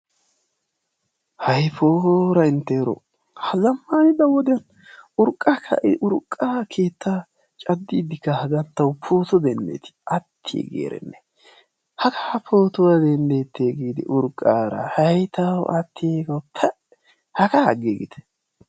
Hayi poora inttero, ha zamanidda woddiyan urqqa ka"eti? Urqqa keetta caddidi haggan tawu pootuwaa dendetti attiggi erenne hagga pootuwaa dendette giidi urqara hay tawu attiggo paa haga agigitte.